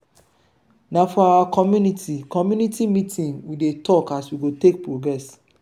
na for our community community meeting we dey tok as we go take progress.